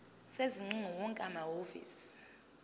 sezingcingo wonke amahhovisi